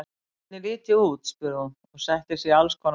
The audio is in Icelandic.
Hvernig lít ég út? spurði hún og setti sig í alls konar stellingar.